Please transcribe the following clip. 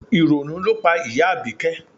Ìrònú ló pa ìyá Abike